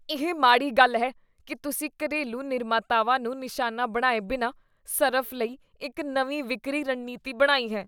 ਇਹ ਮਾੜੀ ਗੱਲ ਹੈ ਕੀ ਤੁਸੀਂ ਘਰੇਲੂ ਨਿਰਮਾਤਾਵਾਂ ਨੂੰ ਨਿਸ਼ਾਨਾ ਬਣਾਏ ਬਿਨਾਂ ਸਰਫ਼ ਲਈ ਇੱਕ ਨਵੀਂ ਵਿਕਰੀ ਰਣਨੀਤੀ ਬਣਾਈ ਹੈ।